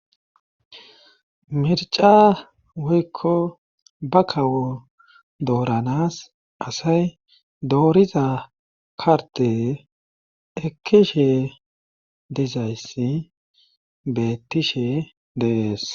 mirca woykko ba kawoo dooranas asay dooriza kardee ekkishe dizayssi beettishe de7es